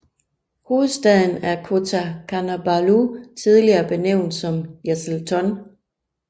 Hovedstaden er Kota Kinabalu tidligere benævnt som Jesselton